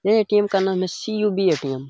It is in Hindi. ये ए.टी.एम. का नाम है सी.यु.बी. ए.टी.एम ।